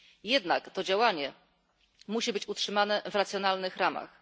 Jednak to działanie musi być utrzymane w racjonalnych ramach.